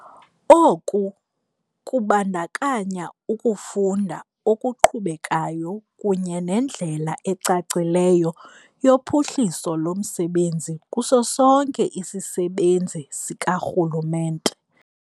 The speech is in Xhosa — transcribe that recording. Oku kubandakanya ukufunda okuqhubekayo kunye nendlela ecacileyo yophuhliso lomsebenzi kuso sonke isisebenzi sikarhulumente.